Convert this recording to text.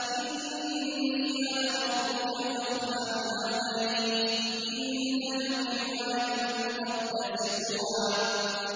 إِنِّي أَنَا رَبُّكَ فَاخْلَعْ نَعْلَيْكَ ۖ إِنَّكَ بِالْوَادِ الْمُقَدَّسِ طُوًى